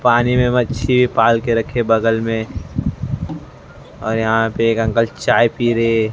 पानी में मच्छी पाल के रखे बगल में और यहां पे एक अंकल चाय पी रहे--